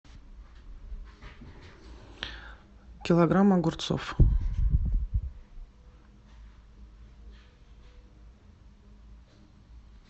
килограмм огурцов